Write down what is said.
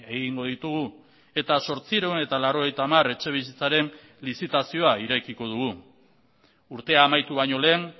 egingo ditugu eta zortziehun eta laurogeita hamar etxebizitzaren lizitazioa irekiko dugu urtea amaitu baino lehen